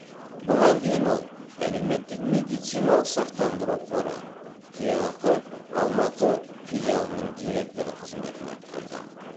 бұған дейін ол әлеуметтік медициналық сақтандыру қоры кеақ алматы филиалының директоры қызметін атқарды